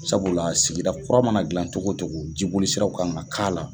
Sabula sigida kura mana dilan togo togo jibolisiraw ka kan ka k'a la.